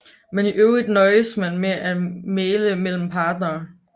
Men i øvrigt nøjedes man med at mægle mellem parterne